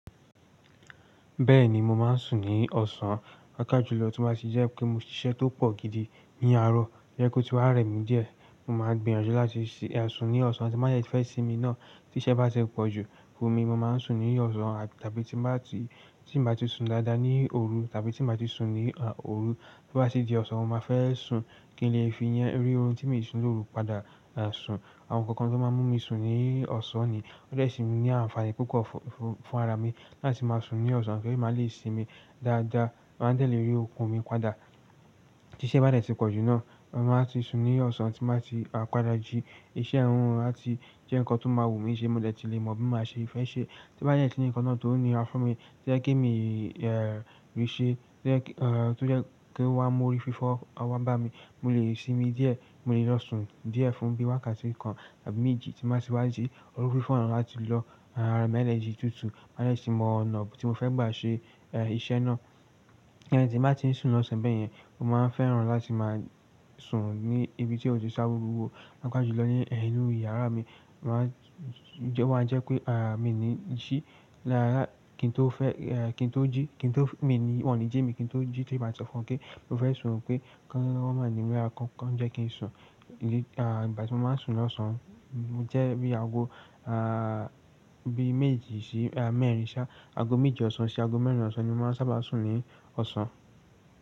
Bẹ́ẹ̀ni, mo máa ń sùn ní ọ̀sán. Papa jùlọ tí mó bá ti jẹ́ pé mo ní iṣẹ́ tó pọ̀ gidi ní àárọ̀, tó jẹ́ pé ó ti wá rẹ̀ mí díẹ̀, mo máa gbìyànjú láti sùn ní ọ̀sán tí màá yẹ fẹ́ sinmi náà. Tí iṣẹ́ bá ti pọ̀ jù fún mi, mo máa ń sùn ní ọ̀sán tàbí tí bá ti, tí bá ti sùn dáadáa ní òru tàbí tí bá ti sùn ní, à, òru, tí ó bá sì di ọ̀sán, mo máa fẹ́ sùn kí n lè fi yẹn rí ohun tí mi sùn lóru padà, à, sùn. Àwọn ǹkan kan tó man mú mi ọ̀sán ni. Ode semi ní ànfàní púpọ̀ fún ara mi láti máa sùn ní ọ̀sán kí èmi má lè sinmi dáadáa, máa dẹ̀le eré okun mi padà. Tí iṣẹ́ bá dẹ̀ tí pọ̀ jù náà, mo máa ti sùn ní ọ̀sán tí màá ti, à, padà jí iṣẹ́ ẹnu àti jẹ́ ǹkan tó máa wù mí ṣe mo dẹ̀ ti lè mọ̀ bí màá ṣe fẹ́ ṣe. Tó bá dẹ̀ sin ǹkanna tó nira fún mi tó jẹ́ pé mi lè ṣe tó jẹ́ pé ó wá mú orí fífọ́ wá bá mi, mo lè sinmi díẹ̀, mo lè lọ sùn díẹ̀ fún bí wákàtí kan tàbí méjì tí màá ti wá jí orí fífọ́ náà láti lọ, à, ra mi energy tuntun, máa lè sì mọ ọ̀nà tí mo fẹ́ gbà ṣe, ẹ́, iṣẹ́ náà. Ẹni tí màá ti ń sùn lọ́sẹ̀ bẹ́ẹ̀ yẹn, mo máa ń fẹ́ràn láti máa sùn ní ibi tí ó ti ṣáwọ́ rúwo. Káká jùlọ ní, ẹ́, inú yàrá mi. Mo máa ń jẹ́ wọ́n a jẹ́ pé, à, mi ní jí. Lára kí n tó fẹ́, ẹ́, kí n tó jí, kí n tó-- mi ní wọ́n ní jí mi kí n tó jí tó bá ti ọ̀fọ̀ọ́ pé mo fẹ́ sùn pé kí wọ́n máa ními lará, kí wọ́n jẹ́ kí n sùn. Í, à, ìgbà tí mo máa ń sùn ní ọ̀sán jẹ́ bí aago, à, bí méjì sí mẹ́rin sá-- aago méjì ọ̀sán sí aago mẹ́rin ọ̀sán ni mo máa ń sábà sùn ní ọ̀sán.